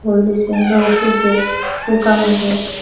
হলদি সাইনো ওষুধ দিয়া পোকা মারে।